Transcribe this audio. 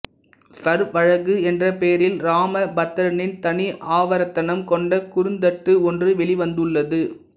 சர்வழகு என்ற பெயரில் ராமபத்ரனின் தனி ஆவர்த்தனம் கொண்ட குறுந்தட்டு ஒன்று வெளிவந்துள்ளது